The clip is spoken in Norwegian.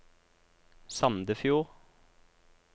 Sandefjord